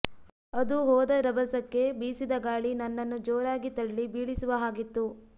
ಅದು ಹೋದ ರಭಸಕ್ಕೆ ಬೀಸಿದ ಗಾಳಿ ನನ್ನನ್ನು ಜೋರಾಗಿ ತಳ್ಳಿ ಬೀಳಿಸುವ ಹಾಗಿತ್ತು